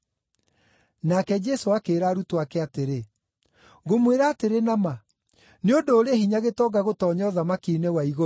Nake Jesũ akĩĩra arutwo ake atĩrĩ, “Ngũmwĩra atĩrĩ na ma, nĩ ũndũ ũrĩ hinya gĩtonga gũtoonya ũthamaki-inĩ wa igũrũ.